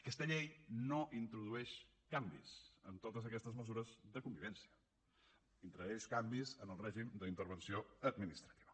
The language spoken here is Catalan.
aquesta llei no introdueix canvis en totes aquestes mesures de convivència introdueix canvis en el règim d’intervenció administrativa